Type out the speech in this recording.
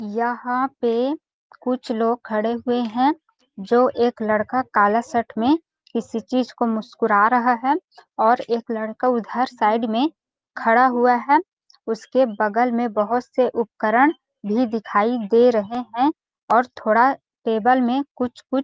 यहाँ पे कुछ लोग खड़े हुए हैं जो एक लड़का काला शर्ट में किसी चीज को मुस्कुरा रहा है और एक लड़का उधर साइड में खड़ा हुआ है उसके बगल में बहुत से उपकरण भी दिखाई दे रहे हैं और थोडा टेबल में कुछ कुछ--